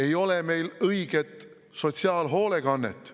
Ei ole meil õiget sotsiaalhoolekannet.